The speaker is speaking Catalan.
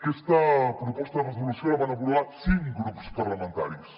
aquesta proposta de resolució la van aprovar cinc grups parlamentaris